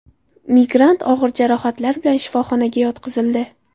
Migrant og‘ir jarohatlar bilan shifoxonaga yotqizildi.